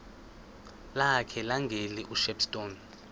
lakhe levangeli ushepstone